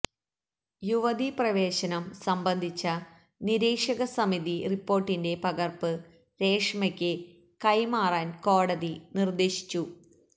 യുവതി പ്രവേശം സംബന്ധിച്ച നിരീക്ഷകസമിതി റിപ്പോർട്ടിന്റെ പകർപ്പ് രേഷ്മയ്ക്ക് കൈമാറാൻ കോടതി നിർദ്ദേശിച്ചു